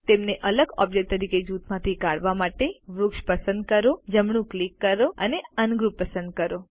તેમને અલગ ઓબ્જેક્ટ તરીકે જૂથમાંથી કાઢવા માટે વૃક્ષ પસંદ કરો જમણું ક્લિક કરો અને અનગ્રુપ પસંદ કરો